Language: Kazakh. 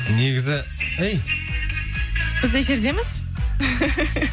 негізі әй біз эфирдеміз